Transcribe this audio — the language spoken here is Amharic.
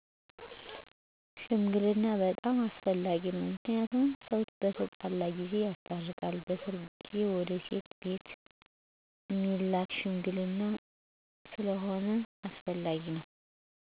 ሽምግልና' በጣም አስፈላጊ ነው ምክንያቱም ሰው በተጣላ ጊዜ ያስታርቃል በሰርጌ ጊዜ ወደ ሴት ቤት እሚላክ ሽምግልና ስለሁነ አስፈላጊ ነው።